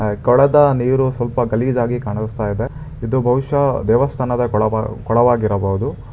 ಕೊಳದ ನೀರು ಸ್ವಲ್ಪ ಗಲೀಜಾಗಿ ಕಾಣಿಸ್ತಾ ಇದೆ ಇದು ಭವಿಷ್ಯ ದೇವಸ್ಥಾನದ ಕೊಳಬ ಕೊಳವಾಗಿರಬಹುದು.